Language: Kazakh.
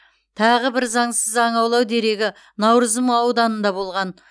тағы бір заңсыз аң аулау дерегі науырзым ауданында болған